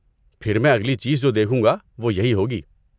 پھر میں اگلی چیز جو دیکھوں گا وہ یہی ہوگی۔